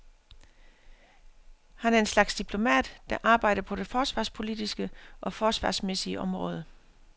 Han er en slags diplomat, der arbejder på det forsvarspolitiske og forsvarsmæssige område.